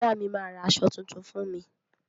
Bọ̀dá mi, ma ra aṣọ tuntun fún mi.